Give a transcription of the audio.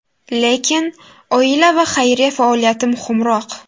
Lekin oila va xayriya faoliyati muhimroq.